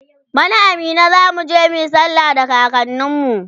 bana a Minna zamuje muyi sallah da kakanin mu